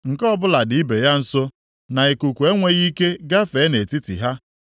nke ọbụla dị ibe ya nso, na ikuku enweghị ike gafee nʼetiti ha.